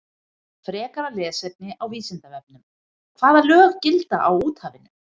Frekara lesefni á Vísindavefnum: Hvaða lög gilda á úthafinu?